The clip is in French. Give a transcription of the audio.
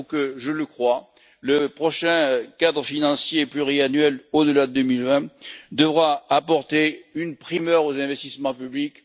Il faut que je le crois le prochain cadre financier pluriannuel au delà de 2020 apporte une primeur aux investissements publics.